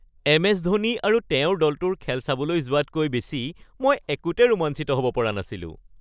MS. Dhoni আৰু তেওঁৰ দলটোৰ খেল চাবলৈ যোৱাতকৈ বেছি মই একোতে ৰোমাঞ্চিত হ'ব পৰা নাছিলোঁ।